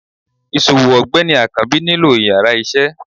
isòwó ọgbẹni akanbi nílo íyarà iṣẹ